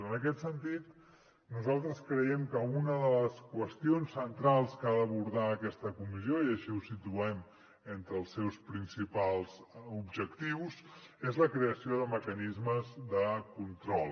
en aquest sentit nosaltres creiem que una de les qüestions centrals que ha d’abordar aquesta comissió i així ho situem entre els seus principals objectius és la creació de mecanismes de control